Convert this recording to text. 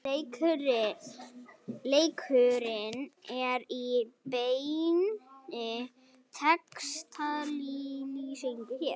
Leikurinn er í beinni textalýsingu hér